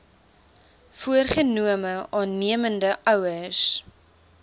voorgenome aannemende ouers